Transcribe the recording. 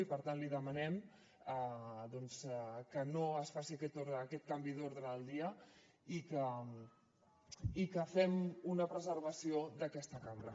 i per tant li demanem doncs que no es faci aquest canvi d’ordre del dia i que fem una preservació d’aquesta cambra